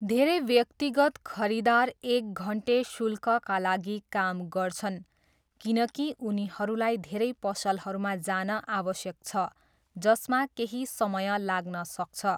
धेरै व्यक्तिगत खरिदार एक घन्टे शुल्कका लागि काम गर्छन् किनकि उनीहरूलाई धेरै पसलहरूमा जान आवश्यक छ, जसमा केही समय लाग्न सक्छ।